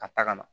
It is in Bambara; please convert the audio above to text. Ka taa ka na